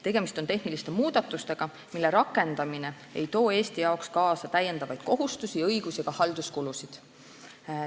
Tegemist on tehniliste muudatustega, mille rakendamine ei too Eestile kaasa täiendavaid kohustusi, õigusi ega halduskulusid.